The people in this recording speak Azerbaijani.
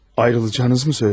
Ayrılacağınızı mı söyledi?